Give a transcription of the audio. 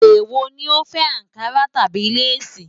Èwò ni o fẹ́: Ànkarà tàbí lace?